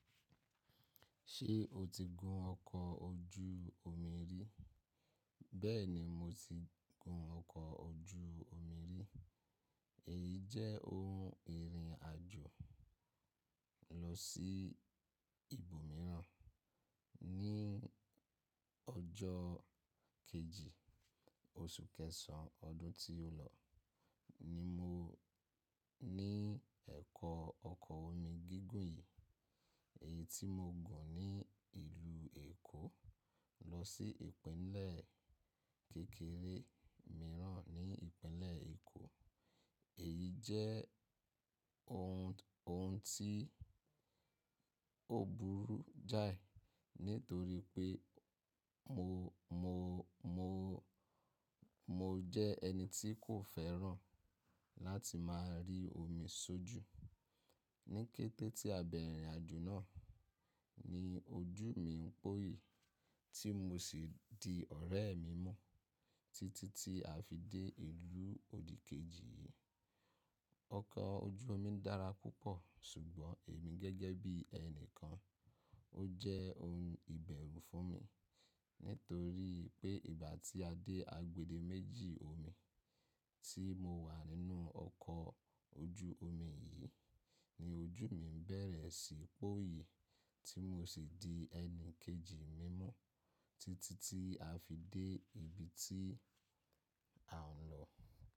Ṣé o ti gun ọkọ̀ ojú omi rí? Bẹ́ẹ̀ni mo ti gun ọkọ̀ ojú omi rí. Èyí jẹ́ ohun ìrìn àjò lọ sí ibòmíràn. Ní ọjọ́ kejì oṣù kẹsàn-án ọdún tí ó lọ ni mo ní ẹ̀kọ́ ọkọ̀ omi gígùn yìí. Èyí tí mo gùn ní ìlú Èkó lọ sí ìpínlẹ̀ kékeré mìíràn ní ìpínlẹ̀ Èkó. Èyí jẹ́ ohun tí ó burú jáì nítorí pé mo jẹ́ ẹni tí kò fẹ́ràn láti máa rí omi sójú. Ní kété tí a bẹ̀rẹ̀ ìrìnàjò náà ni ojú mi ń póyi tí mo sì di ọ̀rẹ́ mi mú títí tí a fi dé ìlú òdìkejì yìí. Ọkọ̀ ojú omi dára púpọ̀ ṣùgbọ́n èmi gẹ́gẹ́ bí ẹni kan, ó jẹ́ ohun ìbẹ̀rù fún mi nítorí pé ìgbà tí a dé agbede méjì omi tí mo wà nínú ọkọ̀ ojú omi yìí ni ojú mi bẹ̀rẹ̀ sí póyi tí mo sì di ẹni kejì mi mú títí tí a fi dé ibi tí a ń lọ.